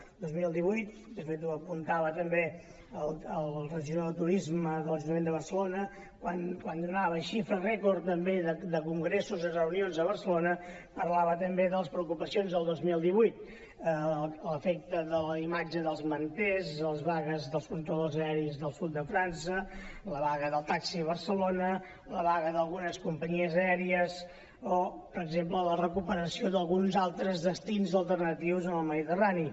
el dos mil divuit de fet ho apuntava també el regidor de turisme de l’ajuntament de barcelona quan donava xifra rècord també de congressos i reunions a barcelona parlava de les preocupacions del dos mil divuit l’efecte de la imatge dels manters les vagues dels controladors aeris del sud de frança la vaga del taxi a barcelona la vaga d’algunes companyies aèries o per exemple la recuperació d’alguns altres destins alternatius al mediterrani